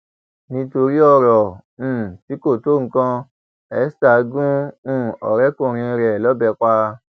nítorí ọrọ um tí kò tó nǹkan esther gún um ọrẹkùnrin ẹ lọbẹ pa